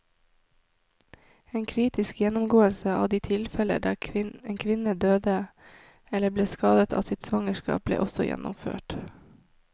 En kritisk gjennomgåelse av de tilfellene der en kvinne døde eller ble skadet av sitt svangerskap, ble også gjennomført.